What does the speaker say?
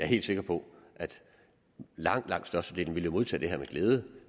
helt sikker på at langt langt størstedelen jo vil modtage det her med glæde